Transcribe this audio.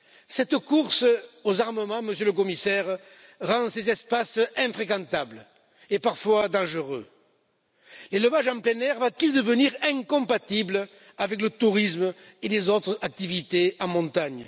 Cette course aux armements, Monsieur le Commissaire, rend ces espaces infréquentables et parfois dangereux. L'élevage en plein air va t il devenir incompatible avec le tourisme et les autres activités en montagne?